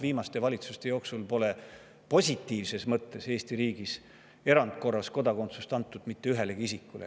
Viimaste valitsuste ajal pole Eesti riigis kodakondsust erandkorras positiivsel antud mitte ühelegi isikule.